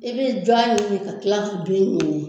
I bɛ jɔ ɲini ka kila k'i